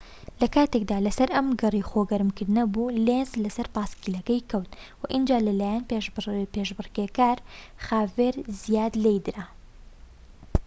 لە کاتێکدا لە سەر ئەم گەڕەی خۆ گەرم کردنەوە بوو لێنز لە سەر پایسکلەکەی کەوت و ئینجا لە لایەن پێشبڕکێکار خاڤیێر زایات لێیدرا